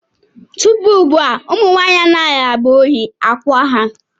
Tupu ugbu a, ụmụ nwanyị anaghị agba oyi akwa ha.